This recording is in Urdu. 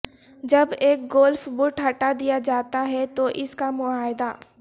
جب ایک گولف بٹ ہٹا دیا جاتا ہے تو اس کا معاہدہ